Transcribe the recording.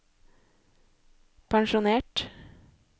pensjonert